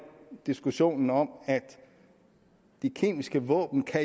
diskussionen om at de kemiske våben